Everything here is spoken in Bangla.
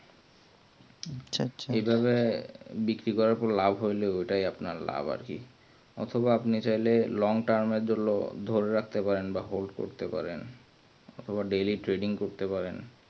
এই ভাবে ব্রিক্রি করার পর লাভ হইলেই ঐটাই আপনার লাভ আরকি অথবা আপনি চাইলে long term এর ধরে রাখতে পারেন বা hold করতে পারেন অথবা daily trading করতে পারেন